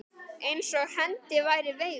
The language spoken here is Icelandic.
Eins og hendi væri veifað.